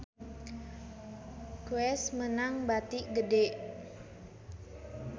Guess meunang bati gede